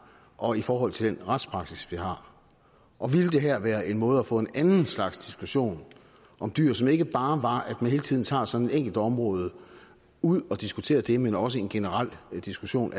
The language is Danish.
og i forhold til den retspraksis vi har og ville det her være en måde at få en anden slags diskussion om dyr som ikke bare var at man hele tiden tager sådan et enkelt område ud og diskuterer det men også en generel diskussion